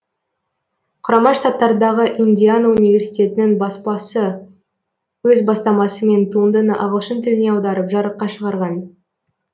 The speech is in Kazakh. құрама штаттардағы индиана университетінің баспасы өз бастамасымен туындыны ағылшын тіліне аударып жарыққа шығарған